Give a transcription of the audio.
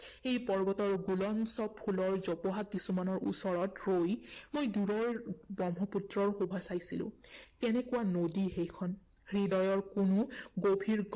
সেই পৰ্বতৰ গুলঞ্চ ফুলৰ জোপোহা কিছুমানৰ ওচৰত ৰৈ মই দুৰৈৰ ব্ৰহ্মপুত্ৰৰ শোভা চাইছিলো। কেনেকুৱা নদী সেইখন? হৃদয়ৰ কোনো গভীৰ